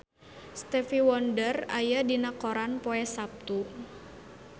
Stevie Wonder aya dina koran poe Saptu